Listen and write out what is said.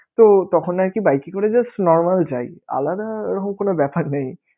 তো তখন আরকি bike এ করে just normal যাই, আলাদা ওরকম কোন ব্যাপার নেই.